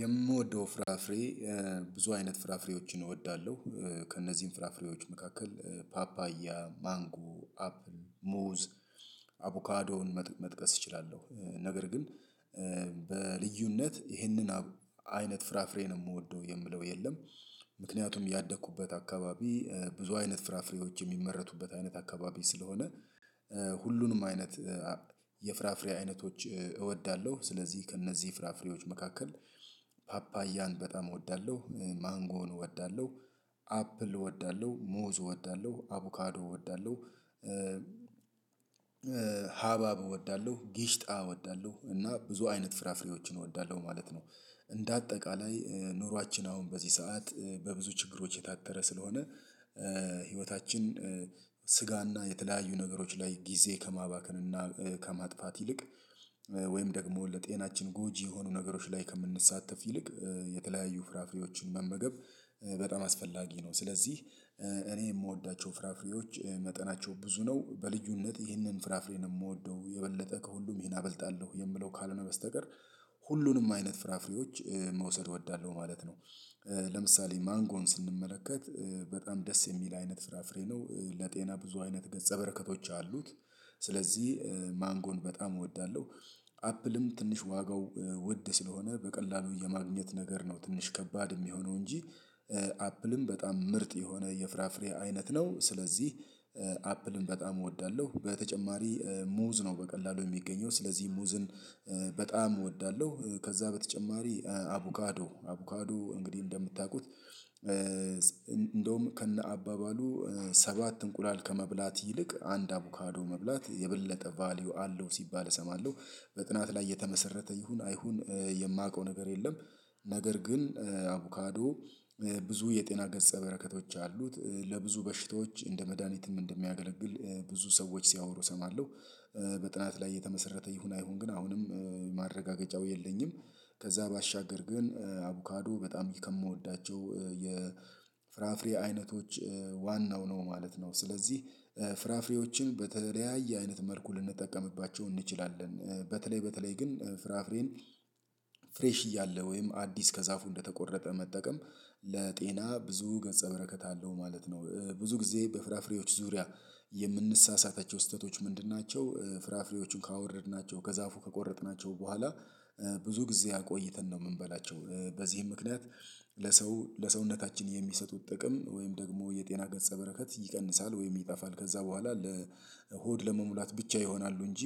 የምወደው ፍራፍሬ ብዙ አይነት ፍራፍሬዎችን እወዳለሁ። ከእነዚህም ፍራፍሬዎች መካከል ፓፓያ ማንጎ አፕል ሙዝ አቡካዶን መጥቀስ እችላለሁ ነገር ግን በልዩነት ይህንን አይነት ፍራፍሬ ነው የምወደው የምለው የለም። ምክንያቱም ያደኩበት አካባቢ ብዙ አይነት ፍራፍሬዎች የሚመረቱበት አይነት አካባቢ ስለሆነ ሁሉንም አይነት የፍራፍሬ አይነቶች እወዳለሁ። ስለዚህ ከእነዚህ ፍራፍሬዎች መካከል ፓፓያን በጣም እወዳለሁ ማንጎን እወዳለሁ አፕል እወዳለሁ መዝ እወዳለው አቮካዶ እወዳለው ሀባብ እወዳለው ጊሽጣ እወዳለሁ እና ብዙ አይነት ፍራፍሬዎችን እወዳለሁ ማለት ነው። እንደ አጠቃላይ ኑሯችን አሁን በዚህ ሰዓት በብዙ ችግሮች የታጠረ ስለሆነ። ህይወታችን ስጋና የተለያዩ ነገሮች ላይ ጊዜ ከማባከን እና ከማጥፋት ይልቅ ወይም ደግሞ ለጤናችን ጎጂ የሆኑ ነገሮች ላይ ከምንሳተፍ ይልቅ የተለያዩ ፍራፍሬዎችን መመገብ በጣም አስፈላጊ ነው። ስለዚህ እኔ የምወዳቸው ፍራፍሬዎች መጠናቸው ብዙ ነው በልዩነት ይህንን ፍራፍሬ ነው የምወደው የበለጠ ከሁሉም ይሄን አበልጣለሁ የምለው ካልሆነ በስተቀር ሁሉንም አይነት ፍራፍሬዎች መውሰድ እወዳለሁ ማለት ነው። ለምሳሌ ማንጎን ስንመለከት በጣም ደስ የሚል አይነት ፍራ ፍሬ ነው ለጤና ብዙ አይነት ገጸ በረከቶች አሉት ስለዚህ ማንጎን በጣም እወዳለሁ። አፕልም ትንሽ ዋጋው ውድ ስለሆነ በቀላሉ የማግኘት ነገር ነው ትንሽ ከባድ የሚሆነው እንጂ። አፕልም በጣም ምርጥ የሆነ የፍራፍሬ አይነት ነው ስለዚህ አፕልም በጣም እወዳለሁ። በተጨማሪ ሙዝ ነው በቀላሉ የሚገኘው ስለዚህ ሙዝን በጣም እወዳለሁ። ከዛ በተጨማሪ አቡካዶ አቡካዶ እንግዲህ እንደምታውቁት እንደውም ከነ አባባሉ ሰባት እንቁላል ከመብላት ይልቅ አንድ አቮካዶ መብላት የበለጠ ቫልዩ አለው ሲባል እሰማለሁ። በጥናት ላይ የተመሰረተ ይሁን አይሁን? የማውቀው ነገር የለም። ነገር ግን አቮካዶ ብዙ የጤና ገጸ በረከቶች አሉት። ለብዙ በሽታዎች እንደ መድሃኒትም እንደሚያገለግል ብዙ ሰዎች ሲያወሩ እሰማለሁ። በጥናት ላይ የተመሰረተ ይሁን አይሁን? ግን አሁንም ማረጋገጫው የለኝም። ከዛ ባሻገር ግን አቮካዶ በጣም ከምወዳቸው የፍራፍሬ አይነቶች ዋናው ነው ማለት ነው። ስለዚህ ፍራፍሬዎችን በተለያየ አይነት መልኩ ልንጠቀምባቸው እንችላለን። በተለይ በተለይ ግን ፍራፍሬን ፍሬሽ እያለ ወይም አዲስ ከዛፉ እንደተቆረጠ መጠቀም ለጤና ብዙ ገጸ በረከት አለው ማለት ነው። ብዙ ጊዜ በፍራፍሬዎች ዙሪያ የምንሳሳታቸው ስህተቶች ምንድን ናቸው? ፍራፍሬዎቹን ካወረድናቸው ከዛፉ ከቆረጥናቸው በኋላ ብዙ ጊዜ አቆይተን ነው የምንበላቸው። በዚህም ምክንያት ለሰው ለሰውነታችን የሚሰጡት ጥቅም ወይም ደግሞ የጤና ገጸ በረከት ይቀንሳል ወይም ይጠፋል ከዛ በኋላ ለሆድ ለመሙላት ብቻ ይሆናሉ። እንጂ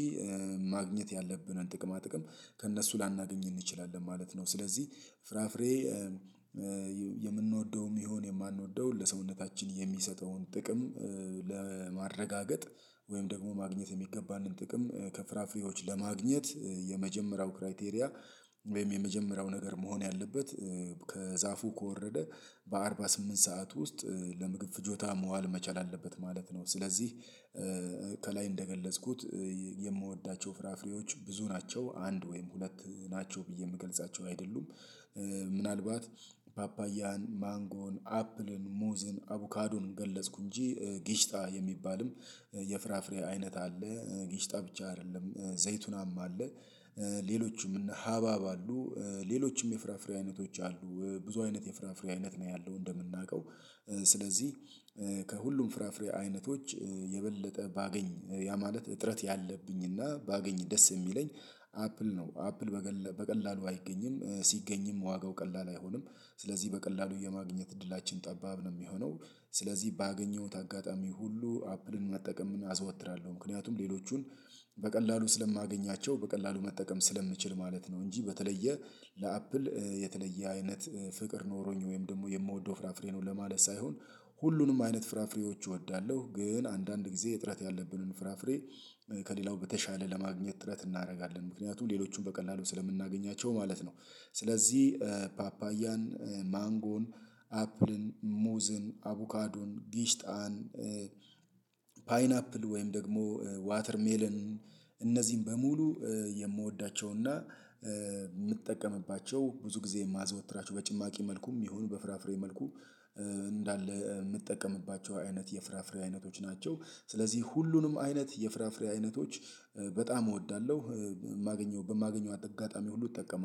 ማግኘት ያለብንን ጥቅማ ጥቅም ከእነሱ ላናገኝ እንችላለን ማለት ነው። ስለዚህ ፍራፍሬ የምንወደውም ይሁን የማንወደውን ለሰውነታችን የሚሰጠውን ጥቅም ለማረጋገጥ ወይም ደግሞ ማግኘት የሚገባንን ጥቅም ከፍራፍሬዎች ለማግኘት የመጀመሪያው ክራይቴሪያ ወይም የመጀመሪያው ነገር መሆን ያለበት ከዛፉ ከወረደ በአርባ ስምንት ሰዓት ውስጥ ለምግብ ፍጆታ መዋል መቻል አለበት ማለት ነው። ስለዚህ ከላይ እንደገለጽኩት የምወዳቸው ፍራፍሬዎች ብዙ ናቸው አንድ ወይም ሁለት ናቸው ብዬ የምገልጻቸው አይደሉም። ምናልባት ፓፓያን ማንጎን አፕልን ሙዝን አቡካዶን ገለጽኩ እንጂ ጊሽታ የሚባልም የፍራፍሬ አይነት አለ። ጊሽታ ብቻ አይደለም ዘይቱንም አለ። ሌሎችም እነ ሀባብ አሉ። ሌሎችም የፍራፍሬ አይነቶች አሉ። ብዙ አይነት የፍራፍሬ አይነት ነው ያለው እንደምናውቀው። ስለዚህ ከሁሉም ፍራፍሬ አይነቶች የበለጠ ባገኝ ያ ማለት እጥረት ያለብኝና ባገኝ ደስ የሚለኝ አፕል ነው። አፕል በቀላሉ አይገኝም ሲገኝም ዋጋው ቀላል አይሆንም። ስለዚህ በቀላሉ የማግኘት እድላችን ጠባብ ነው የሚሆነው። ስለዚህ ባገኘሁት አጋጣሚ ሁሉ አፕልን መጠቀምን አዘወትራለሁ ምክንያቱም ሌሎቹን በቀላሉ ስለማገኛቸው በቀላሉ መጠቀም ስለምችል ማለት ነው። እንጂ በተለየ ለአፕል የተለየ አይነት ፍቅር ኖሮኝ ወይም ደግሞ የምወደው ፍራፍሬ ነው ለማለት ሳይሆን። ሁሉንም አይነት ፍራፍሬዎች እወዳለሁ ግን አንዳንድ ጊዜ እጥረት ያለብንን ፍራፍሬ ከሌላው በተሻለ ለማግኘት ጥረት እናደርጋለን ምክንያቱም ሌሎቹን በቀላሉ ስለምናገኛቸው ማለት ነው። ስለዚህ ፓፓያን ማንጎን አፕልን ሙዝን አቡካዱን ጊሽጣን ፓይናፕል ወይም ደግሞ ዋተርሜልን እነዚህን በሙሉ የምወዳቸውና የምጠቀምባቸው ብዙ ጊዜ የማዘወትራቸው በጭማቂ መልኩም ይሁን በፍራፍሬ መልኩ እንዳለ የምጠቀምባቸው አይነት የፍራፍሬ አይነቶች ናቸው። ስለዚህ ሁሉንም አይነት የፍራፍሬ አይነቶች በጣም እወዳለሁ። የማገኘው በማገኘው አጋጣሚ ሁሉ እጠቀማለሁ